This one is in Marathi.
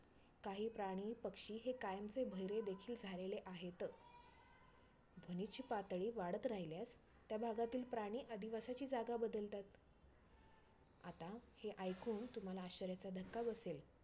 काही प्राणी, पक्षी हे कायमचे बहिरे देखिल झालेले आहेत. ध्वनीची पातळी वाढत राहिल्यास त्या भागातील प्राणी अधिवासाची जागा बदलतात. आता हे ऐकून तुम्हाला आश्चर्याचा धक्का बसेल